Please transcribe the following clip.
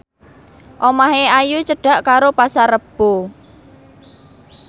omahe Ayu cedhak karo Pasar Rebo